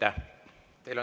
Aitäh!